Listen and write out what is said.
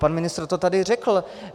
Pan ministr to tady řekl.